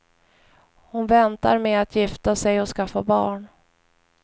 Hon väntar med att gifta sig och skaffa barn.